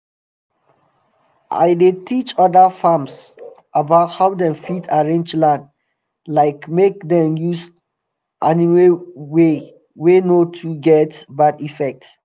i dey teach other farms about how dem fit arrange land like make dem use animay way wey no go too get bad effect